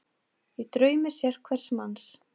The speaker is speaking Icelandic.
Í draumi sérhvers manns